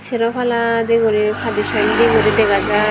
seropala di guri padi sondi guri dega jai.